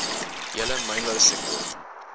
hele mynbou sektor